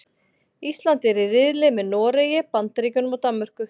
Ísland er í riðli með Noregi, Bandaríkjunum og Danmörku.